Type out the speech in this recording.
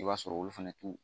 I b'a sɔrɔ olu fɛnɛ t'u